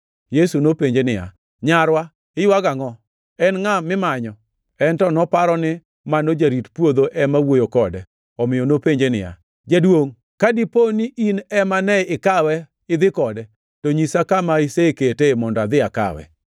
Yesu nopenje niya, “Nyarwa, iywago angʼo? En ngʼa mimanyo?” En to noparo ni mano jarit puodho ema wuoyo kode, omiyo nopenje niya, “Jaduongʼ, ka dipo ni in ema ne ikawe idhi kode, to nyisa kama iseketee, mondo adhi akawe.”